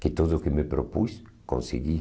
Que tudo o que me propus, consegui.